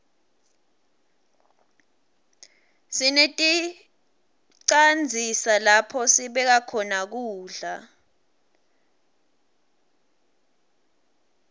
sineticandzisa lapho sibeka khona kudla